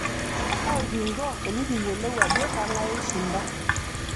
kaikingo enikiyilou ajo kangae oishinda